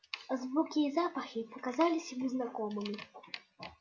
звуки и запахи показались ему знакомыми